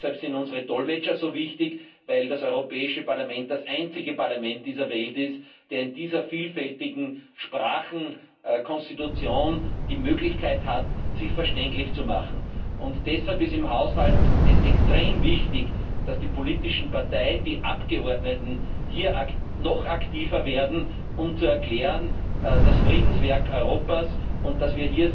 Deshalb sind unsere Dolmetscher so wichtig, weil das Europäische Parlament das einzige Parlament dieser Welt ist, das in dieser vielfältigen Sprachenkonstitution die Möglichkeit hat, sich verständlich zu machen. Deshalb ist es im Haushalt extrem wichtig, dass die politischen Parteien, die Abgeordneten, hier noch aktiver werden, um das Friedenswerk Europas zu erklären, dass